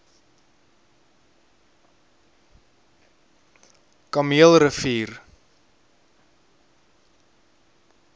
kameelrivier